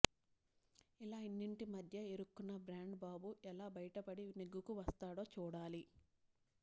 ఇలా ఇన్నింటి మధ్య ఇరుక్కున్న బ్రాండ్ బాబు ఎలా బయటపడి నెగ్గుకు వస్తాడో చూడాలి